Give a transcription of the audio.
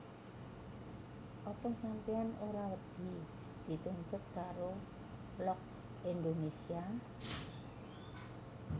Apa sampeyan ora wedi dituntut karo Look Indonesia?